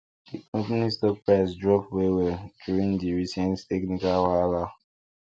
di company stock price drop wellwell during di recent technical wahala